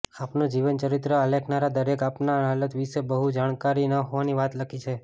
આપનું જીવન ચરિત્ર આલેખનારા દરેકે આપના હાલાત વિશે બહુ જાણકારી ન હોવાની વાત લખી છે